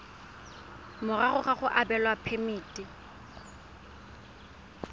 morago ga go abelwa phemiti